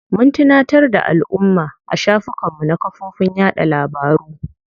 Mun tunatar da alumma a shafukan mu na kafofin yaɗa labaru.